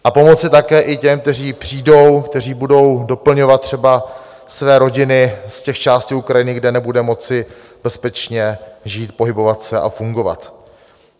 A pomoci také i těm, kteří přijdou, kteří budou doplňovat třeba své rodiny z těch částí Ukrajiny, kde nebudou moci bezpečně žít, pohybovat se a fungovat.